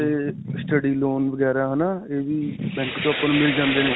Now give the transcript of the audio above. ਤੇ study loan ਵਗੈਰਾ ਹੈ ਨਾ, ਇਹ ਵੀ bank 'ਚੋਂ ਆਪਾਂ ਨੂੰ ਮਿਲ ਜਾਂਦੇ ਨੇ.